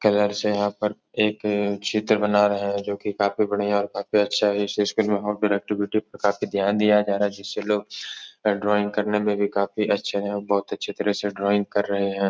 Colour से यहाँ पर एक चित्र बना रहा है जो कि काफी बढ़ियां और काफी अच्छा इस स्कूल में प्रोडक्ट पे ध्यान दिया जा रहा है। जिससे लोग ड्राइंग करने मे काफी अच्छे हैं और बोहोत अच्छे तरह से ड्राइंग कर रहे हैं।